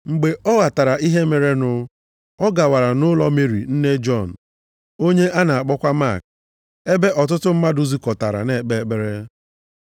Mgbe ọ ghọtara ihe merenụ, ọ gawara nʼụlọ Meri nne Jọn onye a na-akpọkwa Mak, ebe ọtụtụ mmadụ zukọtararị na-ekpe ekpere.